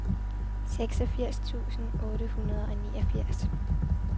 seksogfirs tusind otte hundrede og niogfirs